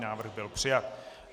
Návrh byl přijat.